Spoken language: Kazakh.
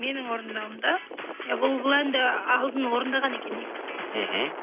менің орындауымда иә бұл әнді алдын орындаған екен негізі мхм